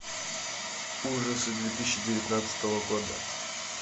ужасы две тысячи девятнадцатого года